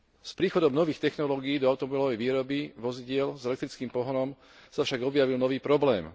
S príchodom nových technológií do automobilovej výroby vozidiel s elektrickým pohonom sa však objavil nový problém.